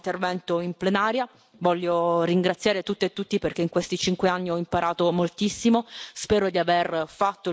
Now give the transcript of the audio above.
Infine, questo è il mio ultimo intervento in plenaria, voglio ringraziare tutte e tutti, perché in questi cinque anni ho imparato moltissimo.